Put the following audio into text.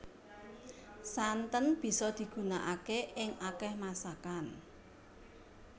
Santen bisa digunakaké ing akéh masakan